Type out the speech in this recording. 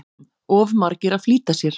Of margir að flýta sér